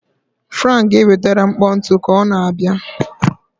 Frank ga-enwetara m mkpọ ntu ka ọ na-abịa.